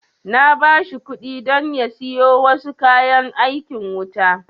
Na ba shi kuɗi don ya siyo wasu kayan aikin wuta